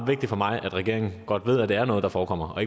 vigtigt for mig at regeringen godt ved at det er noget der forekommer og